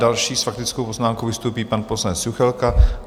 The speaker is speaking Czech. Další s faktickou poznámkou vystoupí pan poslanec Juchelka.